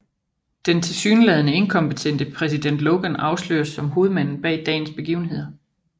Den tilsyneladende inkompetente præsident Logan afsløres som hovedmanden bag dagens begivenheder